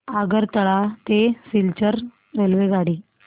आगरतळा ते सिलचर रेल्वेगाडी